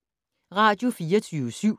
Radio24syv